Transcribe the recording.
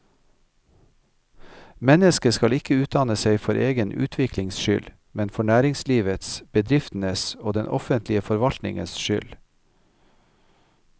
Mennesket skal ikke utdanne seg for egen utviklings skyld, men for næringslivets, bedriftenes og den offentlige forvaltningens skyld.